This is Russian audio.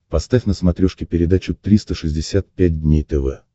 поставь на смотрешке передачу триста шестьдесят пять дней тв